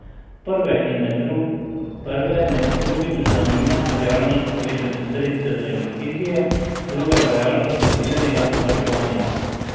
Prve med drugim zanima realnost povečanja sredstev za investicije, druge pa realnost predvidenega varčevanja.